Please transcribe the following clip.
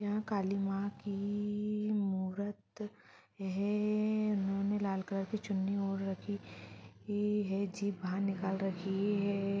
कालीमा की इ इ इ मूरत है। ए ए उन्होंने लाल कलर की चुन्नी ओढ़ रखी है। जीभ बाहर निकल रखी है।